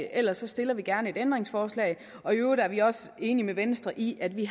ellers stiller vi gerne et ændringsforslag og i øvrigt er vi også enige med venstre i at vi